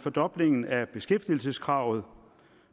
fordoblingen af beskæftigelseskravet